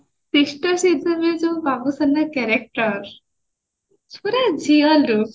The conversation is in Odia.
sister ଶ୍ରୀଦେବୀରେ ଯୋଉ ବାବୁସାନ୍ ର character ପୁରା ଝିଅ look